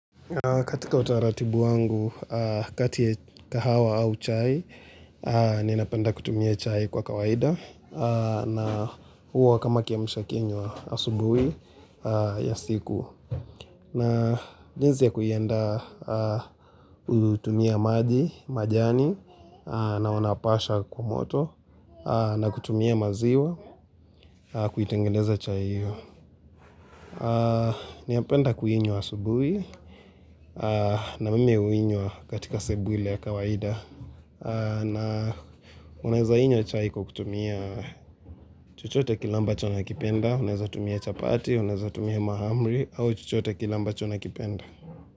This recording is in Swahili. Katika utaratibu wangu, kati ya kahawa au chai, ni napenda kutumia chai kwa kawaida. Na huo kama kiamsha kinywa asubuhi ya siku. Na jinsi ya kuiandaa utumia maji, majani, na wanapasha kwa moto, na kutumia maziwa, kuitengendeza chai hiyo. Ninapenda kuinywa asubui na mimi uinywa katika sebule ya kawaida na unaeza inywa chai kwa kutumia chochote kile ambacho unakipenda Unaweza tumia chapati, unaweza tumia mahamri au chuchote kile ambacho unakipenda.